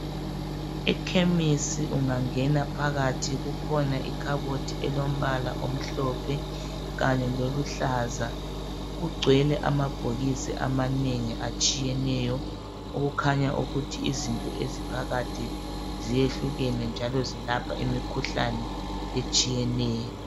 Ekhemisi ungangena phakathi kukhona ikhabothi elombala omhlophe kanye loluhlaza kugcwele amabhokisi amanengi atshiyeneyo okukhanya ukuthi izinto eziphakathi zehlukene njalo zilapha imikhuhlane etshiyeneyo.